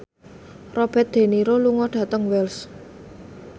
Robert de Niro lunga dhateng Wells